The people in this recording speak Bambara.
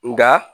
Nka